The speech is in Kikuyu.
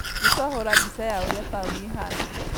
Nĩtwahũra mbica ya ũrĩa taũni ĩhana